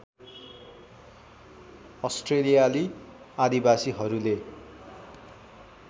अस्ट्रेलियाली आदिवासीहरूले